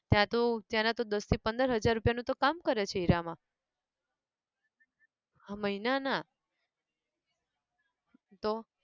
ત્યાં તો ત્યાંના તો દસ થી પંદર હજાર રૂપિયા નું તો કામ કરે છે હીરામાં હા મહિના ના તો!